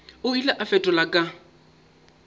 o ile a fetola ka